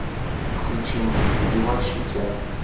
включи мне убивать шутя